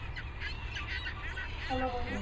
follow কৰি থাকে।